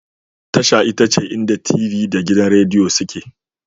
Tasha ita ce inda t.v da gidan Rediyo suke